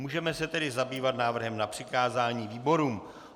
Můžeme se tedy zabývat návrhem na přikázání výborům.